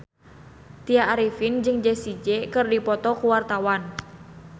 Tya Arifin jeung Jessie J keur dipoto ku wartawan